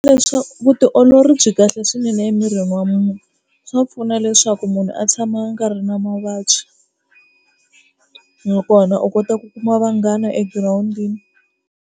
vutiolori byi kahle swinene emirini wa munhu, swa pfuna leswaku munhu a tshama a nga ri na mavabyi nakona u kota ku kuma vanghana egirawundini.